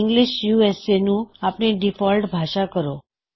English U S A ਨੁੰ ਅਪਣੀ default ਭਾਸ਼ਾ ਕਰੋ